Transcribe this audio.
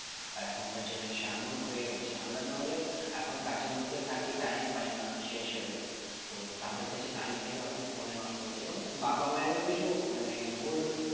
আর এখনকার generation এমন হয়ে গেছে আমরা না হলে এখন কাজের মধ্যে থাকি time পাই না সেই হিসেবে তো তাদের কাছে time থেকেও phone এ নষ্ট করছে এবং বাবা মায়ের ও কিছু মানে ভুল